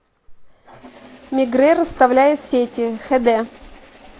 мегрэ расставляет сети хд